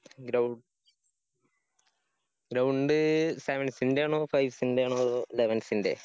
Grou Ground sevens ഇന്‍റെയാണോ fives ഇന്‍റെയാണോ അതോ elevens ന്‍റെയോ?